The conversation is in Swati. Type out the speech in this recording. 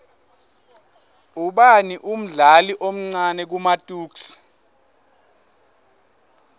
ubani umdlali omcani kumatuks